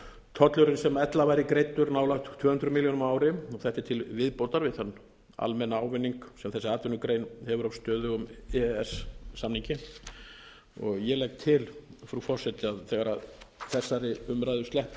tollurinn sem ella væri greiddur nálægt tvö hundruð milljónum á ári þetta er til viðbótar við þann almenna ávinning sem þessi atvinnugrein hefur af stöðugum e e s samningi ég legg til frú forseti að þegar þessari umræðu sleppir